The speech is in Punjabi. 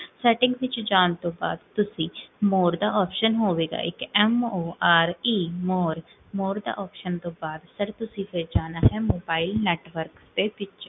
settings ਵਿੱਚ ਜਾਨ ਤੋਂ ਬਾਦ, ਤੁਸੀਂ more ਦਾ option ਹੋਵੇਗਾ ਇਕ, more, more ਦੇ option ਤੋਂ ਬਾਦ, ਫੇਰ ਤੁਸੀਂ ਜਾਣਾ ਹੈ, mobile network ਦੇ ਵਿੱਚ